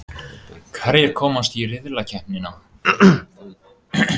Hverjir komast í riðlakeppnina?